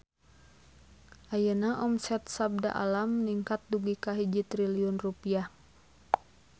Ayeuna omset Sabda Alam ningkat dugi ka 1 triliun rupiah